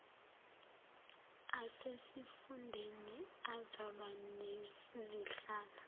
asesifundeni azoba nezihlalo